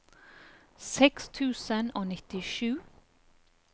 seks tusen og nittisju